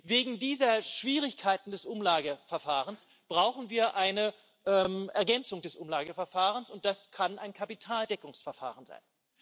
Wegen dieser Schwierigkeiten des Umlageverfahrens brauchen wir eine Ergänzung des Umlageverfahrens, und das kann ein Kapitaldeckungsverfahren sein.